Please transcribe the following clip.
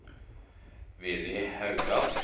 Villy Haugan